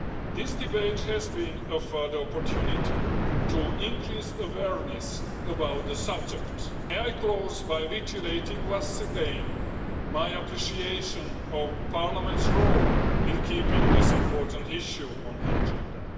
This debate has been a further opportunity to increase awareness about the subject. I close by reiterating once again my appreciation of Parliament's role in keeping this important issue on the agenda.